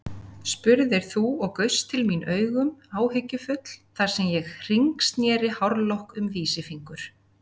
spurðir þú og gaust til mín augum áhyggjufull þar sem ég hringsneri hárlokk um vísifingur.